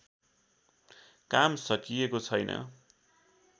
काम सकिएको छैन्